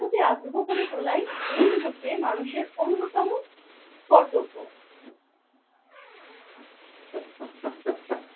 প্রতি আগ্রহ করে তোলাই এই মুহূর্তে মানুষের অন্যতম কর্তব্য।